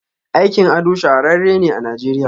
Aikin ado shahararren ne a nigeriya.